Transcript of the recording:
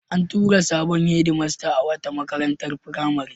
An tura sabon hedmasta a wata makarantar firamare.